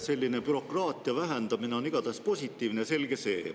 Selline bürokraatia vähendamine on igatahes positiivne, selge see.